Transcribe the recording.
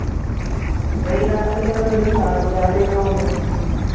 വൈകുന്നേരത്തില് അല്ലേ കളി നാലുമണി ആ time അല്ലെ തോന്നണു